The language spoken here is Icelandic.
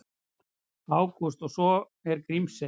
Ágúst: Og svo er Grímsey.